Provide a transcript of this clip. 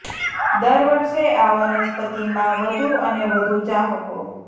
દર વર્ષે આ વનસ્પતિ માં વધુ અને વધુ ચાહકો